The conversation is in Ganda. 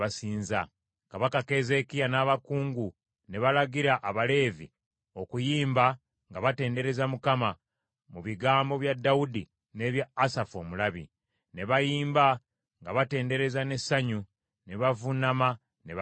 Kabaka Keezeekiya n’abakungu ne balagira Abaleevi okuyimba nga batendereza Mukama mu bigambo bya Dawudi n’ebya Asafu omulabi. Ne bayimba nga batendereza n’essanyu, ne bavuunama ne basinza.